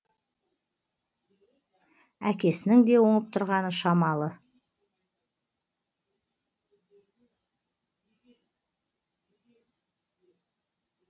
әкесінің де оңып тұрғаны шамалы